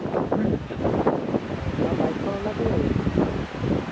আহ আৰু বাইক খন অনা ক হল পিছে?